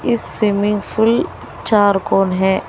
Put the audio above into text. इस swimming pool चार कौन है।